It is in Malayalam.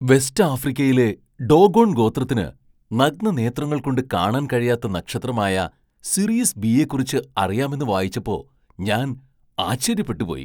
വെസ്റ്റ് ആഫ്രിക്കയിലെ ഡോഗോൺ ഗോത്രത്തിന് നഗ്നനേത്രങ്ങൾ കൊണ്ട് കാണാൻ കഴിയാത്ത നക്ഷത്രമായ സിറിയസ് ബി യെക്കുറിച്ച് അറിയാമെന്ന് വായിച്ചപ്പോ ഞാൻ ആശ്ചര്യപ്പെട്ടു പോയി.